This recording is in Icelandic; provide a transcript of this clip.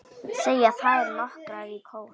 segja þær nokkrar í kór.